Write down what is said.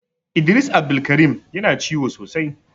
Idris Abdulkareem Yana ciwo sosai.